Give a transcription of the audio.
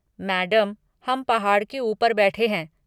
Madam, हम पहाड़ के ऊपर बैठे हैं।